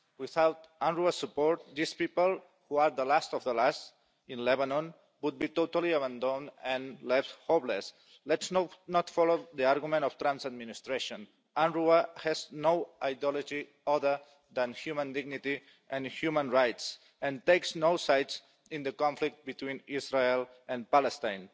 Without UNRWA support these people, who are the last of the last in Lebanon, would be totally abandoned and left homeless. Let's not follow the argument of the Trump administration UNRWA has no ideology other than human dignity and human rights and takes no sides in the conflict between Israel and Palestine.